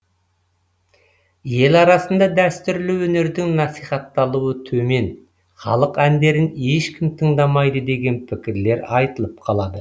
ел арасында дәстүрлі өнердің насихатталуы төмен халық әндерін ешкім тыңдамайды деген пікірлер айтылып қалады